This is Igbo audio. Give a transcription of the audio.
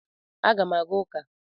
Aga m aga ụka.